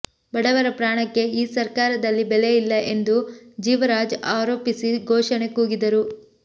ಬಡವರ ಪ್ರಾಣಕ್ಕೆ ಈ ಸರ್ಕಾರದಲ್ಲಿ ಬೆಲ ಇಲ್ಲ ಎಂದು ಜೀವರಾಜ್ ಆರೋಪಿಸಿ ಘೋಷಣೆ ಕೂಗಿದರು